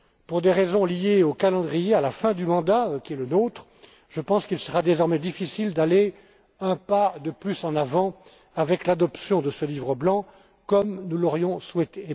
Pour des raisons liées au calendrier à la fin du mandat qui est le nôtre je pense qu'il sera difficile désormais d'avancer d'un pas de plus, avec l'adoption de ce livre blanc, comme nous l'aurions souhaité.